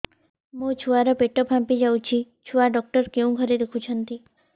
ମୋ ଛୁଆ ର ପେଟ ଫାମ୍ପି ଯାଉଛି ଛୁଆ ଡକ୍ଟର କେଉଁ ଘରେ ଦେଖୁ ଛନ୍ତି